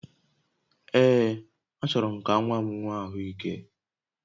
Ee, achọrọ m ka nwa m nwee ahụ ike